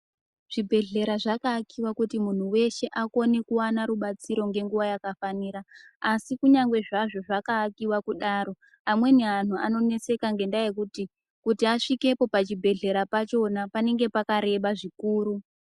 Zvibhehleya zvakaakiwa kuti munhu weshe akone kuone rubatsiro ngenguwa yakafanira asi kunyagwe zvazvo zvakaakiwa kudaro amweni anhu anonetseka ngendaa yekuti kuti asvikepo pachibhehlera pachona panenge pakareba zvikuru.